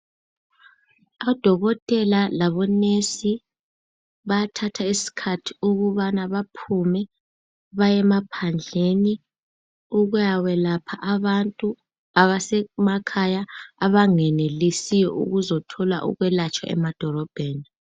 Odokotela labo nurse bayathatha isikhathi ukubana baphume baye emaphandleni ukuya kwelapha abantu abasemakhaya abangenelisiyo okuzothola ukwelatshwa emadolobheni.